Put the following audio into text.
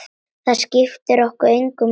Það skiptir okkur engu máli.